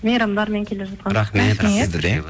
мейрамдармен келе жатқан рахмет